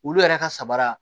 Olu yɛrɛ ka sabara